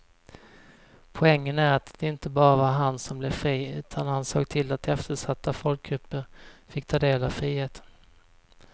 Poängen är att det inte bara var han som blev fri utan han såg till att eftersatta folkgrupper fick ta del av friheten.